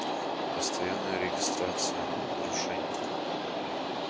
постоянная регистрация нарушений